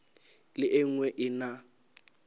le e nngwe e na